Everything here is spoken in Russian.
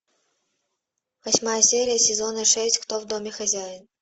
восьмая серия сезона шесть кто в доме хозяин